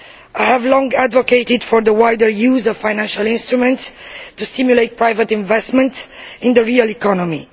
I have long advocated the wider use of financial instruments to stimulate private investment in the real economy.